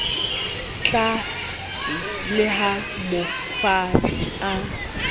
tlaase le ha mofani a